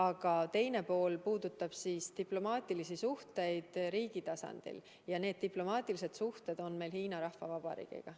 Aga teine pool puudutab diplomaatilisi suhteid riigi tasandil ja diplomaatilised suhted on meil Hiina Rahvavabariigiga.